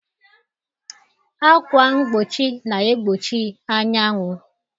Ákwà mgbochi na-egbochi anyanwụ